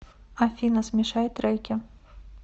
афина смешай треки